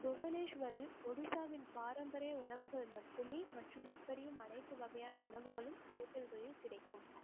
புவனேஸ்வரில் ஒடிசாவின் பாரம்பரிய உணவுகள் மட்டுமே மற்றும் எப்படியும் அனைத்து வகையான உணவுகளும் hotel களில் கிடைக்கும்